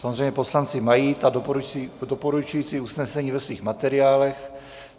Samozřejmě poslanci mají ta doporučující usnesení ve svých materiálech.